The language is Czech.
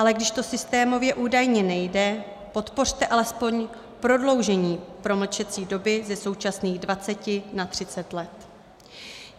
Ale když to systémově údajně nejde, podpořte alespoň prodloužení promlčecí doby ze současných 20 na 30 let.